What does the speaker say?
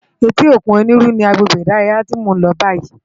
Éti ókún Oniru ni àgbégbé idàráyá ti mó n lò bàyí